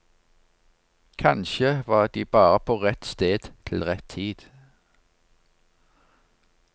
Kanskje var de bare på rett sted til rett tid.